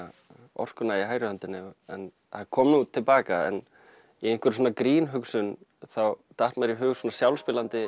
orkuna í hægri hendinni það kom nú til baka en í einhverri svona grínhugsun þá datt mér í hug svona